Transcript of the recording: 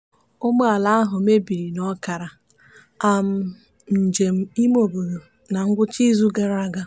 ụgbọala ahụ mebiri n'ọkara um njem imeobodo na ngwụcha izu gara aga.